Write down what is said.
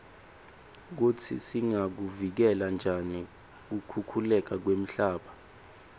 kutsi singakuvikela njani kukhukhuleka kwemhlaba